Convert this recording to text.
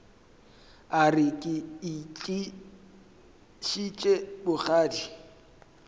a re ke itlišitše bogadi